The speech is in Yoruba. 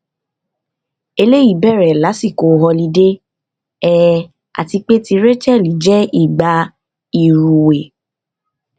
eleyi bere lasiko họlidé um ati pe ti rachelle je ìgbà ìrúwé